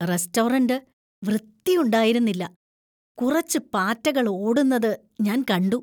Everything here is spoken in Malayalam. റെസ്റ്റോറന്‍റ് വൃത്തിയുണ്ടായിരുന്നില്ല, കുറച്ച് പാറ്റകൾ ഓടുന്നത് ഞാൻ കണ്ടു.